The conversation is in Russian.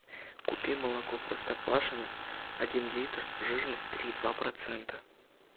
купи молоко простоквашино один литр жирность три и два процента